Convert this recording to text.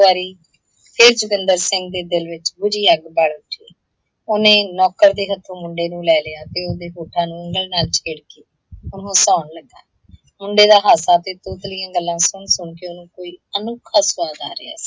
ਫਿਰ ਜਤਿੰਦਰ ਸਿੰਘ ਦੇ ਦਿਲ ਵਿੱਚ ਬੁੱਝੀ ਅੱਗ ਬੱਲ ਉੱਠੀ। ਓਹਨੇ ਨੌਕਰ ਦੇ ਹੱਥੋਂ ਮੁੰਡੇ ਨੂੰ ਲੈ ਲਿਆ ਤੇ ਓਹਦੇ ਹੱਥਾਂ ਨੂੰ ਉੰਗਲ ਨਾਲ ਛੇੜਕੇ ਉਹਨੂੰ ਹਸਾਉਣ ਲੱਗਾ। ਮੁੰਡੇ ਦਾ ਹਾਸਾ ਤੇ ਤੋਤਲੀਆਂ ਗੱਲਾਂ ਸੁਣ ਸੁਣ ਕੇ ਉਹਨੂੰ ਕੋਈ ਅਨੋਖਾ ਸੁਆਦ ਆ ਰਿਹਾ ਸੀ।